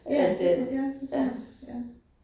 Ja det tror, ja det tror jeg, ja